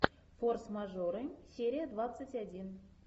форс мажоры серия двадцать один